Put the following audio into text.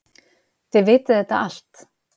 Þið vitið þetta allt.